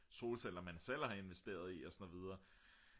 solceller man selv har investeret i og så videre